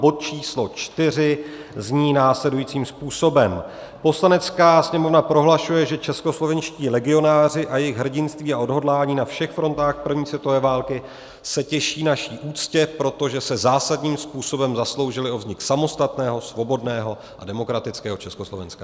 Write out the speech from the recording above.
Bod číslo IV zní následujícím způsobem: Poslanecká sněmovna prohlašuje, že českoslovenští legionáři a jejich hrdinství a odhodlání na všech frontách první světové války se těší naší úctě, protože se zásadním způsobem zasloužili o vznik samostatného, svobodného a demokratického Československa.